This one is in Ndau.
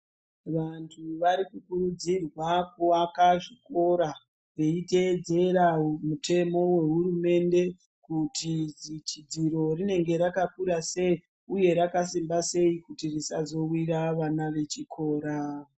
Vantu varikukurudzirwa kuaka zvikora veiteedzera mutemo wehurumende kuti dzichi dziro rinenge rakakurasei uye rakasimba sei kuti risazowira vana vechikora .